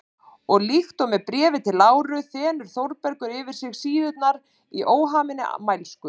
Og líkt og með Bréfi til Láru þenur Þórbergur sig yfir síðurnar í óhaminni mælsku.